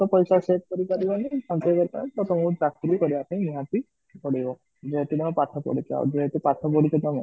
ପଇସା save କରିକି ଆଜି ରହିଲି ପାଞ୍ଚ ହଜାର ଟଙ୍କା ଟାକୁ ମୁଁ ଚାକିରି କରିବା ପାଇଁ ନିହାତି ପଡିବ ଯେହେତୁ ତମେ ପାଠ ପଢିଛ ଆଉ ଯେହେତୁ ପାଠ ପଢିଛ ତମେ